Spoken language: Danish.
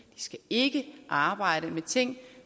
de skal ikke arbejde med ting